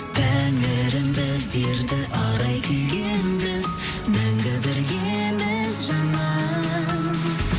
тәңірім біздерді арай күйге енгіз мәңгі біргеміз жаным